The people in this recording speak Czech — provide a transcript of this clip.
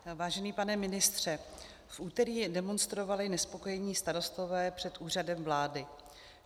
Vážený pane ministře, v úterý demonstrovali nespokojení starostové před Úřadem vlády.